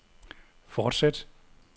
fortsæt